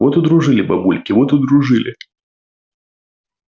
вот удружили бабульки вот удружили